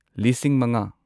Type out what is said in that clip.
ꯂꯤꯁꯤꯡ ꯃꯉꯥ